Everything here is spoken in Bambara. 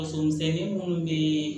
Faso misɛnnin minnu bɛ